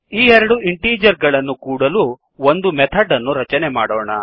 ಈ ಎರಡು ಇಂಟೀಜರ್ ಗಳನ್ನು ಕೂಡಲು ಒಂದು ಮೆಥಡ್ ಅನ್ನು ರಚನೆ ಮಾಡೋಣ